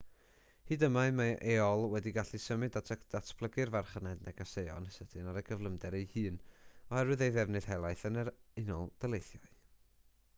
hyd yma mae aol wedi gallu symud a datblygu'r farchnad negeseuon sydyn ar ei gyflymder ei hun oherwydd ei ddefnydd helaeth yn yr unol daleithiau